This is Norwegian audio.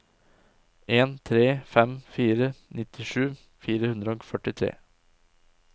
en tre fem fire nittisju fire hundre og førtitre